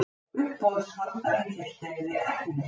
Uppboðshaldarinn hélt þeim við efnið.